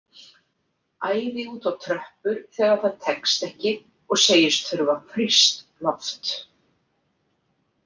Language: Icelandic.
Æði út á tröppur þegar það tekst ekki og segist þurfa frískt loft.